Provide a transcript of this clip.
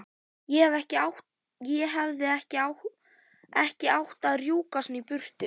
Ég hefði ekki átt að rjúka svona í burtu.